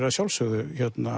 að sjálfsögðu